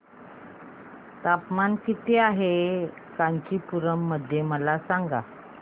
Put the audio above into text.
तापमान किती आहे कांचीपुरम मध्ये मला सांगा